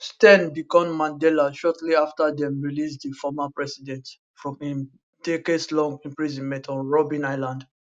steyn become mandela shortly afta dem release di former president from im decadeslong imprisonment on robben island